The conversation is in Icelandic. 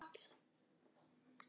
Grikk eða gott?